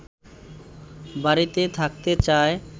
বাড়িতে থাকতে চায়